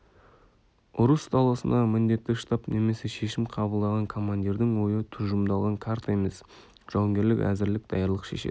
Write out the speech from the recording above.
ұрыс даласындағы міндетті штаб немесе шешім қабылдаған командирдің ойы тұжырымдалған карта емес жауынгерлік әзірлік даярлық шешеді